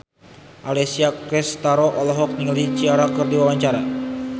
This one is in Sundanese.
Alessia Cestaro olohok ningali Ciara keur diwawancara